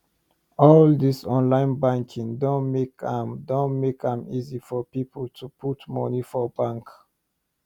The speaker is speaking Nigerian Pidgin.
all these online banking doh make am doh make am easy for people to put money for bank